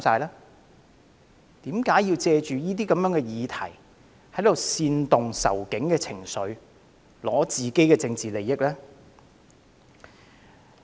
為何要借此議題煽動"仇警"情緒，以爭取自己的政治利益？